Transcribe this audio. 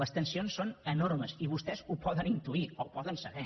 les tensions són enormes i vostès ho poden intuir o ho poden saber